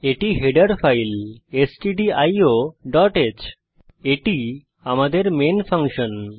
এটি আমাদের header file stdioহ্ এটি আমাদের মেন ফাংশন